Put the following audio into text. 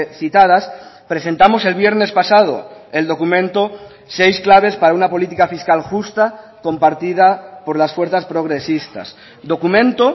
citadas presentamos el viernes pasado el documento seis claves para una política fiscal justa compartida por las fuerzas progresistas documento